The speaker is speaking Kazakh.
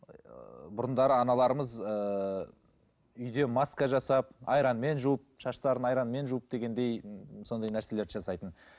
ыыы бұрындары аналарымыз ыыы үйде маска жасап айранмен жуып шаштарын айранмен жуып дегендей сондай нәрселерді жасайтын